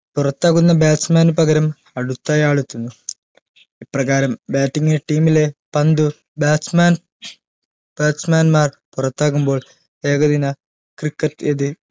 പുറത്താകുന്ന bat man ന് പകരം അടുത്തയാൾ എത്തുന്നു ഇപ്രകാരം batting team ലെ പന്ത് bat man bat man മാർ പുറത്താകുമ്പോൾ ഏകദിന cricket എത്